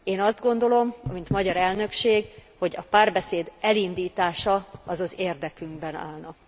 Én azt gondolom, mint magyar elnökség, hogy a párbeszéd elindítása az az érdekünkben állna.